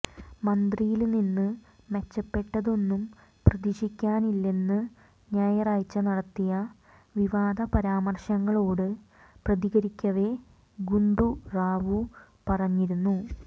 മന്ത്രിയില് നിന്ന് മെച്ചപ്പെട്ടതൊന്നും പ്രതീക്ഷിക്കാനില്ലെന്ന് ഞായറാഴ്ച നടത്തിയ വിവാദ പരാമര്ശങ്ങളോട് പ്രതികരിക്കവെ ഗുണ്ടു റാവു പറഞ്ഞിരുന്നു